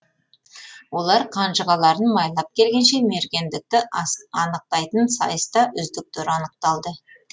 олар қанжығаларын майлап келгенше мергендікті анықтайтын сайысты үздіктер анықталды